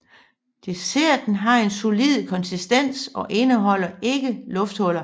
Desserten har en solid konsistens og indeholder ikke lufthuller